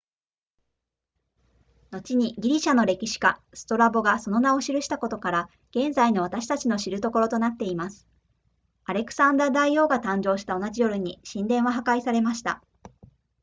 後にギリシャの歴史家ストラボがその名を記したことから現在の私たちの知るところとなっていますアレクサンダー大王が誕生した同じ夜に神殿は破壊されました